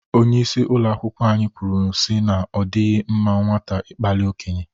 Onyeisi ụlọ akwụkwọ anyị kwuru si na ọ dịghị mma nwata ịkpali okenye.